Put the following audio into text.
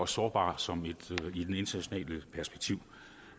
sårbare i internationalt perspektiv